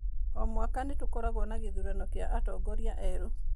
O mwaka nĩ tũkoragũo na gĩthurano kĩa atongoria erũ.